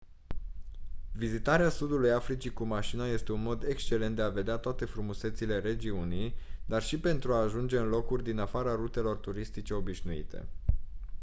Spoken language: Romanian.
vizitarea sudului africii cu mașina este un mod excelent de a vedea toate frumusețile regiunii dar și pentru a ajunge în locuri din afara rutelor turistice obișnuite